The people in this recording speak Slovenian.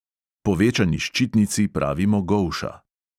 Povečani ščitnici pravimo golša.